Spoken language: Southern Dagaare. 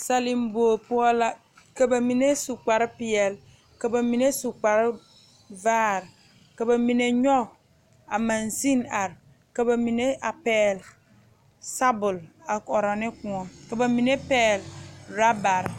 Sele bogi poɔ la ka bamine su kpare peɛle ka bamine su kpare vaare ka bamine nyoŋ a magsine are ka bamine pegle sabule a koɔrɔ ne kõɔ ka bamine pegle orobaare.